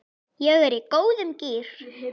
Ég er í góðum gír.